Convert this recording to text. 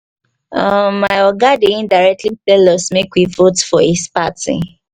um my oga dey indirectly tell us make we vote for his party